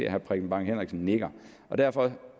at herre preben bang henriksen nikker derfor